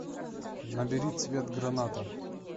набери цвет граната